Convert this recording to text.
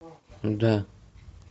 да